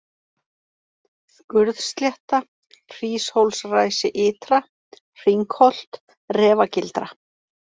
Skurðslétta, Hríshólsræsi ytra, Hringholt, Refagildra